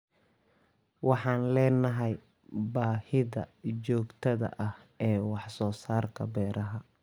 Waxaan leenahay baahida joogtada ah ee wax soo saarka beeraha.